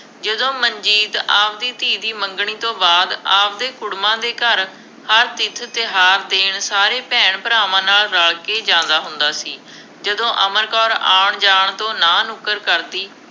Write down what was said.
ਜਦੋਂ ਮਨਜੀਤ ਆਪਦੀ ਧੀ ਦੀ ਮੰਗਣੀ ਤੋਂ ਬਾਅਦ ਆਪਦੇ ਕੁੜਮਾਂ ਦੇ ਘਰ ਹਰ ਤੀਰਥ-ਤਿਉਹਾਰ ਦੇਣ ਸਾਰੇ ਭੈਣ-ਭਰਾਵਾਂ ਨਾਲ ਰਲ ਕੇ ਜਾਂਦਾ ਹੁੰਦਾ ਸੀ। ਜਦੋਂ ਅਮਰ ਕੌਰ ਆਉਣ ਜਾਣ ਤੋਂ ਨਾਂਹ ਨੁੱਕਰ ਕਰਦੀ